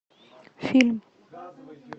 фильм